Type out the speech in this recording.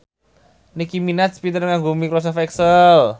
Nicky Minaj pinter nganggo microsoft excel